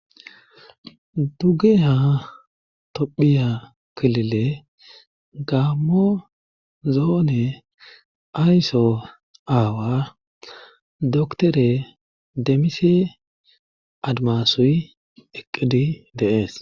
duge ha tophiya kilile gaamo zoone aysso aawa doktore demmise admasoy eqqidi deees